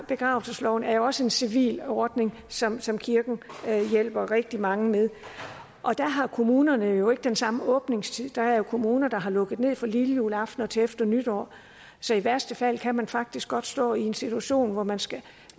begravelsesloven er jo også en civil ordning som som kirken hjælper rigtig mange med og der har kommunerne jo ikke den samme åbningstid der er jo kommuner der har lukket ned fra lillejuleaften og til efter nytår så i værste fald kan man faktisk godt stå i en situation hvor man skal